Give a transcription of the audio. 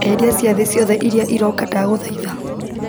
eheria ciathĩ ciothe iria iroka ndagũthaitha